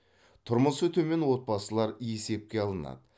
тұрмысы төмен отбасылар есепке алынады